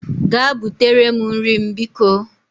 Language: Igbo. Gaa butere m nri m bikọ